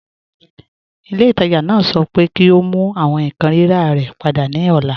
Ilẹ̀-itaajà naa sọ̀ pẹ kí o mú àwọn nkan rírà rẹ̀ pada ni ọ̀là